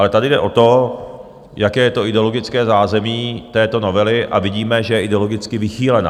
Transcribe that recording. Ale tady jde o to, jaké je to ideologické zázemí této novely, a vidíme, že je ideologicky vychýlená.